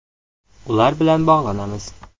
Ular bilan bog‘lanamiz.